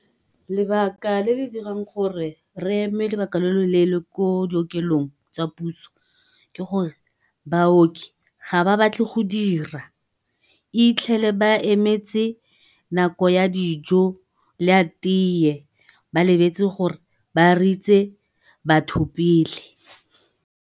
Lebaka le le dirang gore re eme lobaka lo loleele ko dikokelong tsa puso ke gore baoki ga ba batle go dira, itlhele ba emetse nako ya dijo le ya teye ba lebetse gore ba ritse batho pele.